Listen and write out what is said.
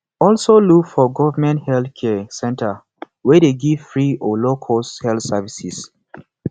also look for government health care center we de give free or low cost health services